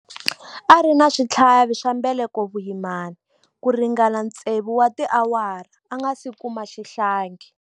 A ri na switlhavi swa mbeleko vuyimani ku ringana tsevu wa tiawara a nga si kuma xihlangi.